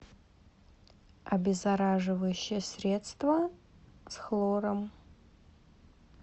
обеззараживающее средство с хлором